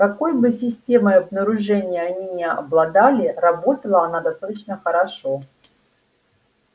какой бы системой обнаружения они ни обладали работала она достаточно хорошо